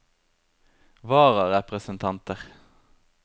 vararepresentanter